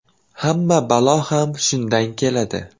Hamma balo ham shundan keladi.